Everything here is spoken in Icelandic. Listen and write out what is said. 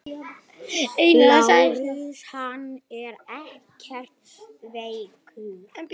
LÁRUS: Hann er ekkert veikur.